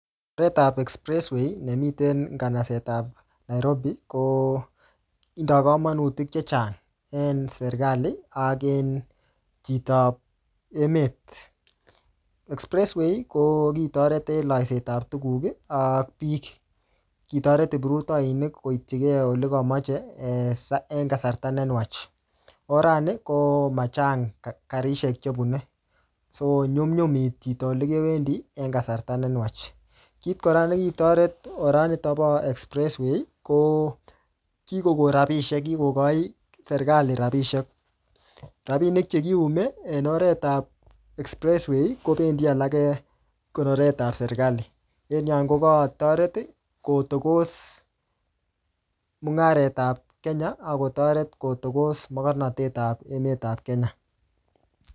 Oret ap expressway, ne miten en kanasetab Nairobi, ko tindoi kamanutik chechang en serikali, ak en chitop emet. Expressway, ko kitoret en laiset ap tuguk ak biik. Kitoret kiprutoinik koitchikei ole kamache, en kasarta ne nwach. Orani ko machang karisiek chebune. So nyumnyumitu chito ole kewendi, en kasarta ne nwach. Kit kora ne kitoret oranitok bo expressway, ko kikokon rabisiek, kikochi serikali rabisiek. Rabinik che kiume en oret ap expressway, kobendi alage konoret ap serikali. En yon, ko kakotoret kotokos mung'aret ap Kenya, akotoret kotokos mokornatet ap emet ap Kenya